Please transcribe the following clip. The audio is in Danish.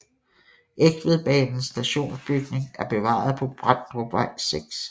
Egtvedbanens stationsbygning er bevaret på Bramdrupvej 6